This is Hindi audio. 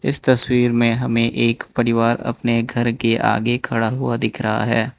इस तस्वीर में हमें एक परिवार अपने घर के आगे खड़ा हुआ दिख रहा है।